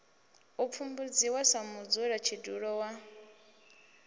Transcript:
u pfumbudziwa sa mudzulatshidulo wa